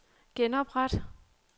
genopret